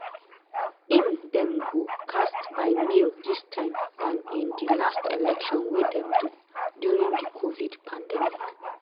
im dem go cast by mail dis time dan in di last election wey dem do during di covid pandemic.